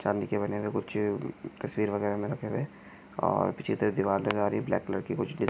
चाँदी के बने हुए कुछ तस्वीर वगैरा रखे हुये और पीछे की तरफ दीवार नजर आ रही है ब्लाक कलर की कुछ डिझा--